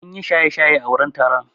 Sun yi shaye-shaye a wurin taron.